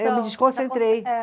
Eu me desconcentrei. É.